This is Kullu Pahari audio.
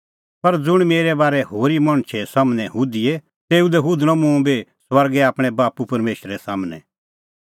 पर ज़ुंण मेरै बारै होरी मणछा मेरै बारै हुधिए तेऊ लै हुधणअ मुंह बी स्वर्गै आपणैं बाप्पू परमेशरा सम्हनै